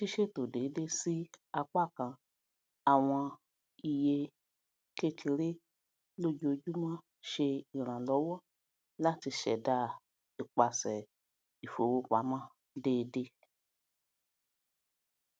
ṣíṣètò déédé sí apákan àwọn iye kékeré lojoojúmọ ṣe iranlọwọ láti ṣẹdá ipasẹ ìfowópamọ déédé